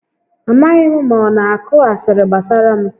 A maghị m ma ọ na akụ asịrị gbasara m